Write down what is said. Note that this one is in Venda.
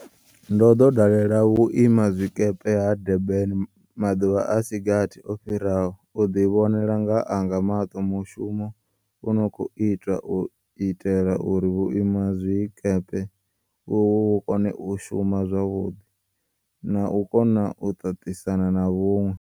Ndo ḓo dalela Vhui mazwikepe ha Du rban maḓuvha a si gathi o fhiraho u ḓivhonela nga anga maṱo mushumo u no khou itwa u itela uri vhuimazwikepe uvhu vhu kone u shuma zwavhuḓi na u kona u ṱaṱisana na vhuṅwe.